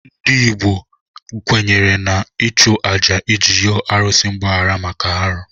Ndị Igbo kwenyere n'ịchụ àjà iji yọọ arụsị mgbaghara maka arụ.